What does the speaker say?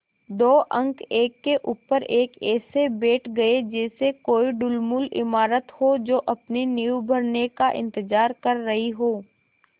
दो अंक एक के ऊपर एक ऐसे बैठ गये जैसे कोई ढुलमुल इमारत हो जो अपनी नींव भरने का इन्तज़ार कर रही हो